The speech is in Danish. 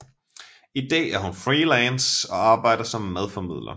I dag er hun freelance og arbejder som madformidler